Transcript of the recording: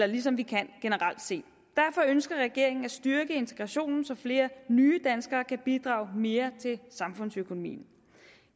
ligesom vi kan generelt set derfor ønsker regeringen at styrke integrationen så flere nye danskere kan bidrage mere til samfundsøkonomien